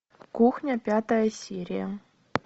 кухня пятая серия